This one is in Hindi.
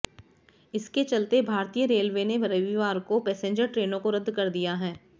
इसके चलते भारतीय रेलवे ने रविवार को पैसेंजर ट्रेनों को रद्द कर दिया है